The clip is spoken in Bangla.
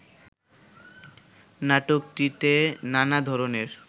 নাটকটিতে নানা ধরনের